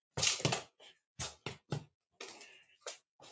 Þar naut Gunnar sín.